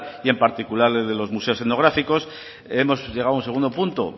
y en particular los museos etnográficos hemos llegado a un segundo punto